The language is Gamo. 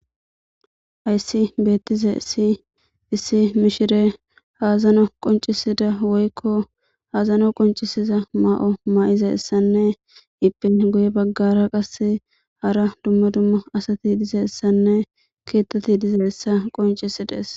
Hayssi beettizays issi mishire azano qoncisida woykko azano qoncisiza ma'o mayizassanne iyepe goye baggara qase hara dummo dumma asati dizassanne keettati dizassa qoncisidees